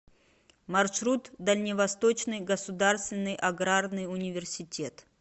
маршрут дальневосточный государственный аграрный университет